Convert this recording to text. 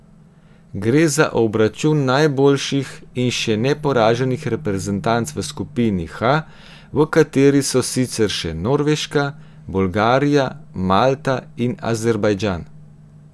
Gre za obračun najboljših in še neporaženih reprezentanc v skupini H, v kateri so sicer še Norveška, Bolgarija, Malta in Azerbajdžan.